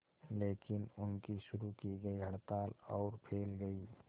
लेकिन उनकी शुरू की गई हड़ताल और फैल गई